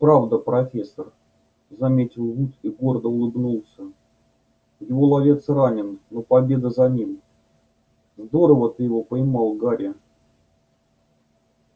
правда профессор заметил вуд и гордо улыбнулся его ловец ранен но победа за ним здорово ты его поймал гарри